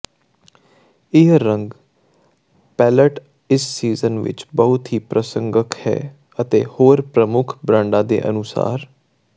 ਇਹ ਰੰਗ ਪੈਲਅਟ ਇਸ ਸੀਜ਼ਨ ਵਿੱਚ ਬਹੁਤ ਪ੍ਰਸੰਗਕ ਹੈ ਅਤੇ ਹੋਰ ਪ੍ਰਮੁੱਖ ਬ੍ਰਾਂਡਾਂ ਦੇ ਅਨੁਸਾਰ